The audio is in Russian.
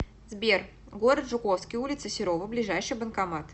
сбер город жуковский улица серова ближайший банкомат